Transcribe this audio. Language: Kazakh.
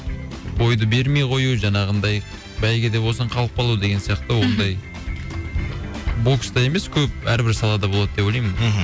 бойды бермей қою жаңағындай бәйге де болсын қалып қалу деген сияқты ондай бокста емес көп әрбір салада болады деп ойлаймын мхм